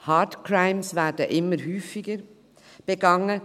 Hate Crimes werden immer häufiger begangen.